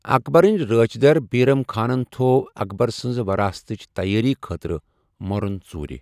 اکبرٕن رٲچھۍ در، بیرم خانن تھوٚو اکبر سنٛز وراثتٕچ تیٲری خٲطرٕ مٔرُن ژورِ۔